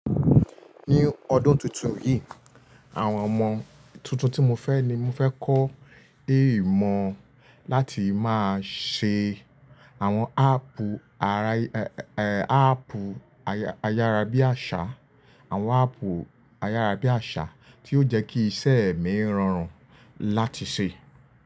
Ní ọdún tuntun yìí, àwọn ọmọ tuntun tí mo fẹ́ ni mo fẹ́ kọ́ dé ìmọ̀ láti máa ṣe àwọn áápù ara, eh, áápù ayára bí àṣà, àwọn áápù ayára bí àṣà tí yóò jẹ́ kí iṣẹ́ mi rọrùn láti ṣe.